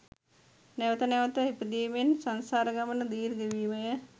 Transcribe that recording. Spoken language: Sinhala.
නැවත නැවත ඉපදෙමින් සංසාර ගමන දීර්ඝවීමය